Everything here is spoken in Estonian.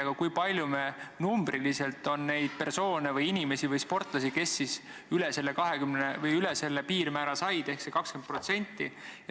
Aga kui palju meil numbriliselt on neid persoone või sportlasi, kes said üle selle piirmäära?